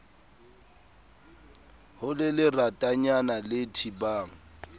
ho le leratanyana le thibang